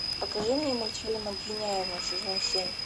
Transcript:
покажи мне мультфильм обвиняемый сезон семь